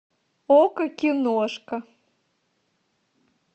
окко киношка